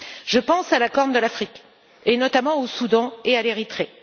Je pense à la Corne de l'Afrique, et notamment au Soudan et à l'Érythrée.